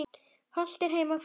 Hollt er heima hvað.